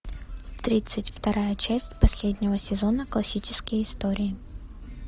тридцать вторая часть последнего сезона классические истории